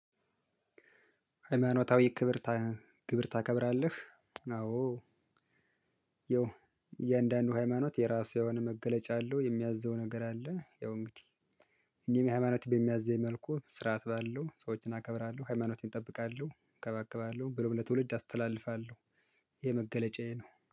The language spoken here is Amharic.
ሃይማኖታዊ ክብር ግብር ታከብራለህ? አዎ ያው የእያንዳንዱ ሃይማኖት የራሱ የሆነ መገለጫ አለው የሚያዘው ነገር አለ። ያው እንግዲህ እኔም ሃይማኖት በሚያዘኝ መልኩ ስርዓት ባለው ሰዎችን አከብራለሁ ሃይማኖቴን እጠብቃለሁ እንከባከባለሁ ብሎም ለትውልድ አስተላልፋለሁ። ይሄ መገለጫዬ ነው